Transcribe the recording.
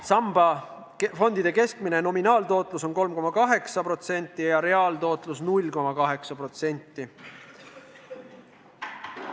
Samba fondide keskmine nominaaltootlus on 3,8% ja reaaltootlus 0,8%.